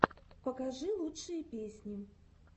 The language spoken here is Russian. покажи лучшие песни